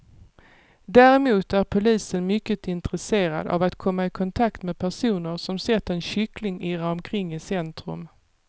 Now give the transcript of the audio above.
Däremot är polisen mycket intresserad av att komma i kontakt med personer som sett en kyckling irra omkring i centrum.